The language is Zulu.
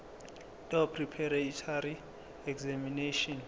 doe preparatory examination